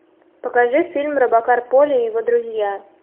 покажи фильм робокар поли и его друзья